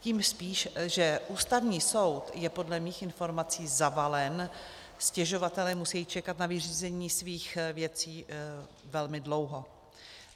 Tím spíš, že Ústavní soud je podle mých informací zavalen, stěžovatelé musí čekat na vyřízení svých věcí velmi dlouho.